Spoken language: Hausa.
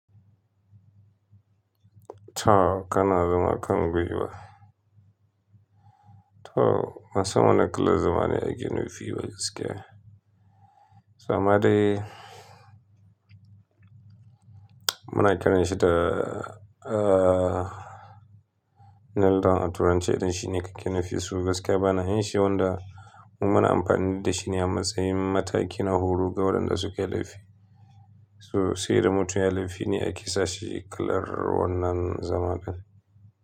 To, kana zaman kangwaiwa ba. To, bansan wanni kalar zamane a ke nufi ba gaskiya. So amma dai muna kiranshi da, ee, Neldon a turanci. Idan shine kake nufi, su gaskiya bana yin shi wanda mu muna amfani da shi ne a matsayin mataki na horo ga waɗanda suke laifi. So, sai dai mutum yayi laifi ne ake sashi kalar wannan zama in.